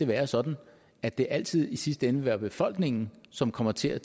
være sådan at det altid i sidste ende vil være befolkningen som kommer til at